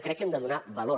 crec que hem de donar valor